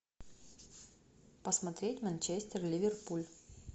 посмотреть манчестер ливерпуль